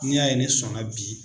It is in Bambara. N'i y'a ye ne sɔnna bi